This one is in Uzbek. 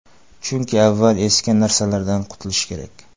Chunki, avval eski narsalardan qutilish kerak.